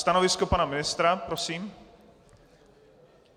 Stanovisko pana ministra prosím.